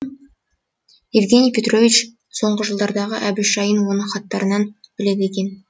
евгений петрович соңғы жылдардағы әбіш жайын оның хаттарынан біледі екен